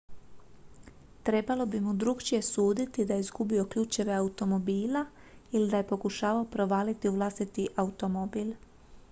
trebalo bi mu drukčije suditi da je izgubio ključeve automobila ili da je pokušavao provaliti u vlastiti automobil